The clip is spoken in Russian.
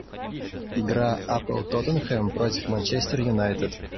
игра апл тоттенхэм против манчестер юнайтед